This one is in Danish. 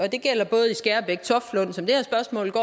det gælder både i skærbæk